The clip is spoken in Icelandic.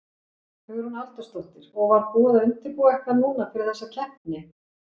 Hugrún Halldórsdóttir: Og var búið að undirbúa eitthvað núna fyrir þessa keppni?